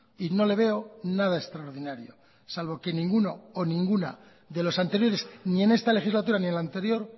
y no le veo nada extraordinario salvo que ninguno o ninguna de los anteriores ni en esta legislatura ni en la anterior